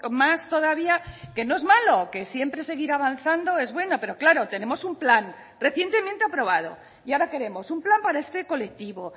más todavía que no es malo que siempre seguir avanzando es bueno pero claro tenemos un plan recientemente aprobado y ahora queremos un plan para este colectivo